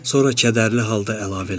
Sonra kədərli halda əlavə elədi: